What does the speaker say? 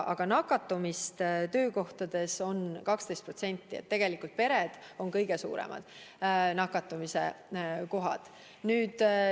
Aga nakatumist töökohtades on 12%, nii et tegelikult on pered kõige suuremad nakatumise kohad.